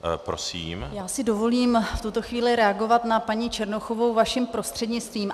Já si dovolím v tuto chvíli reagovat na paní Černochovou vaším prostřednictvím.